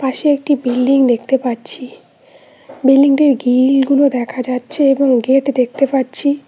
পাশে একটি বিল্ডিং দেখতে পাচ্ছি বিল্ডিং -টির গিল -গুলো দেখা যাচ্ছে এবং গেট দেখতে পাচ্ছি।